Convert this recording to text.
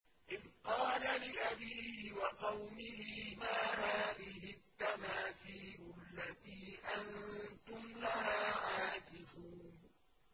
إِذْ قَالَ لِأَبِيهِ وَقَوْمِهِ مَا هَٰذِهِ التَّمَاثِيلُ الَّتِي أَنتُمْ لَهَا عَاكِفُونَ